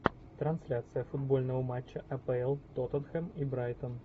трансляция футбольного матча апл тоттенхэм и брайтон